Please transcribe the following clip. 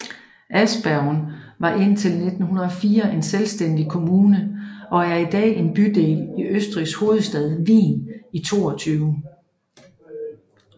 Aspern var indtil 1904 en selvstændig kommune og er i dag en bydel i Østrigs hovedstad Wien i 22